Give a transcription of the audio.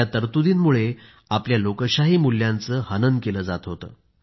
या तरतुदींमुळे आपल्या लोकशाही मूल्यांचे हनन केले जात होते